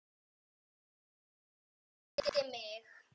Þóra elti mig.